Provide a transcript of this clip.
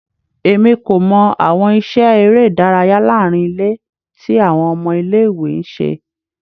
Emi ko mọ awọn iṣẹ ere idaraya laarin ile ti awọn ọmọ ile-iwe n ṣe